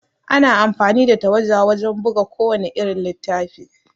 Ana amfani da tawada wajan buga ku wannan irin littafi